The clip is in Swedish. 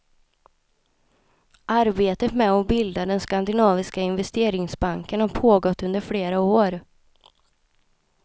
Arbetet med att bilda den skandinaviska investeringsbanken har pågått under flera år.